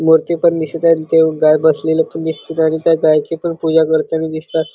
मुर्ती पण दिसत आहे ते गाय बसलेले पण दिसतेत आणि त्या गाईची पण पुजा करतानी दिसतात.